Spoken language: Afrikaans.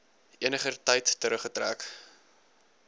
eniger tyd teruggetrek